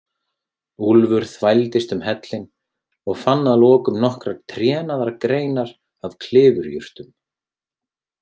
Úlfur þvældist um hellinn og fann að lokum nokkrar trénaðar greinar af klifurjurtum.